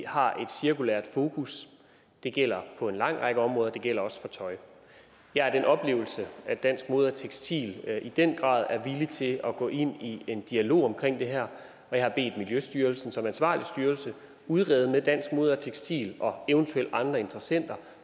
har et cirkulært fokus det gælder på en lang række områder og det gælder også for tøj jeg har den oplevelse at dansk mode tekstil i den grad er villige til at gå ind i en dialog om det her og jeg har bedt miljøstyrelsen som ansvarlig styrelse udrede med dansk mode tekstil og eventuelle andre interessenter